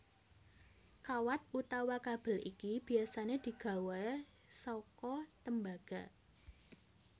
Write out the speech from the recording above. Kawat utawa kabel iki biasané digawé saka tembaga